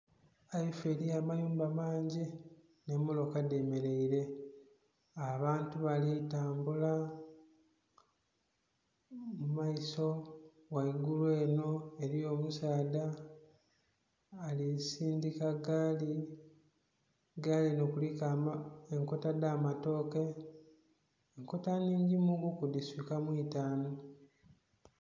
Eifoo eri amayumba mangi n'emmotoka dhemeraire abantu bali tambula mumaiso ghaigulu eno eriyo omusaadha ali sindhika gaali, gaali eno eriku enkota edh'amatooke nkota nnhingi muku dhiswika mu itaanu